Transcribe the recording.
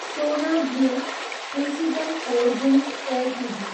सोना blue precision forgings Ltd